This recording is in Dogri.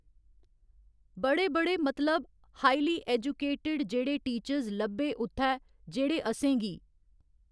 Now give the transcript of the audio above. बड़े बड़े मतलब हाइली ऐजूकेटड जेह्ड़े टीचर्स लब्भे उत्थै जेह्ड़े असेंगी।